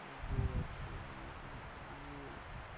а вот и